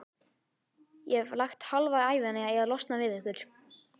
Ég hef lagt hálfa ævina í að losna við ykkur.